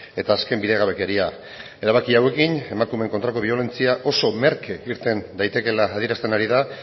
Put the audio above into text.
eta azken bidegabekeria erabaki hauekin emakumeen kontrako biolentzia oso merke irten daitekela adierazten ari da